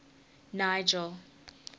nigel